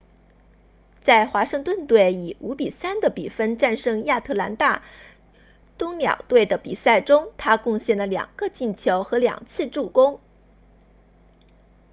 在华盛顿队以 5-3 的比分战胜亚特兰大鸫鸟队的比赛中他贡献了2个进球和2次助攻